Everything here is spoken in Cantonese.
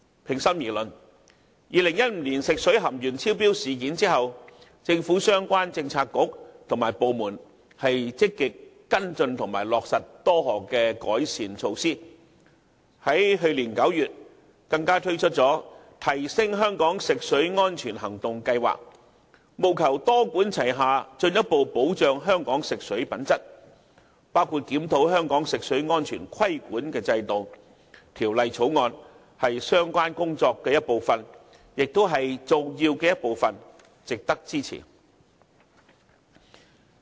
平心而論，在發生2015年食水含鉛超標事件後，政府相關政策局及部門一直積極跟進和落實多項改善措施，去年9月，更推出了"提升香港食水安全行動計劃"，務求多管齊下，進一步保障香港食水品質，包括檢討香港食水安全規管制度，《條例草案》即為相關工作的一部分，亦是重要的一環，實在值得支持。